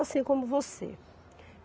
Assim como você.